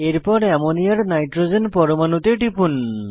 এরপর অ্যামোনিয়ার নাইট্রোজেন পরমাণুতে টিপুন